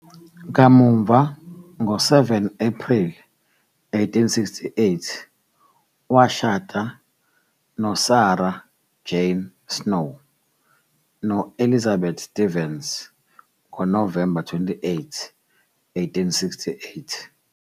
Kamuva, ngo-7 Ephreli 1868 washada noSarah Jane Snow, no-Elizabeth Stevens ngoNovemba 28, 1868.